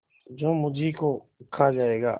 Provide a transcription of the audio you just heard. जो मुझी को खा जायगा